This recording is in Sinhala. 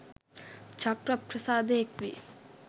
චක්ඛුප්‍රසාදය එක්වී